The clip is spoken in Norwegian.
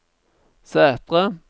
Sætre